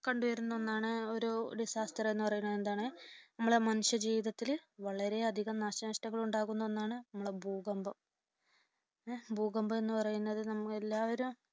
കണ്ടുവരുന്ന ഒന്നാണ് ഒരു disaster എന്നുപറയുന്നതെന്താണ് നമ്മുടെ മനുഷ്യ ജീവിതത്തിൽ വളരെയധികം നാശനഷ്ടങ്ങൾ ഉണ്ടാക്കുന്ന ഒന്നാണ്, നമ്മുടെ ഭൂകമ്പം. ഭൂകമ്പം എന്ന് പറയുന്നത് നമ്മൾ എല്ലാവരും